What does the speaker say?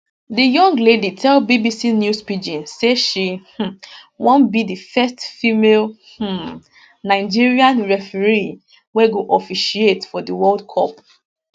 di young lady tell bbc news pidgin say she um wan be di first female um nigerian referee wey go officiate for di world cup